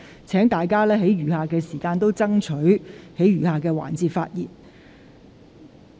請大家在餘下的二讀辯論時間把握機會發言。